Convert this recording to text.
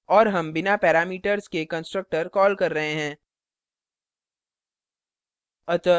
और हम बिना parameters के constructor कॉल कर रहे हैं